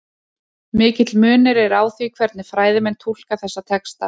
Mikill munur er á því hvernig fræðimenn túlka þessa texta.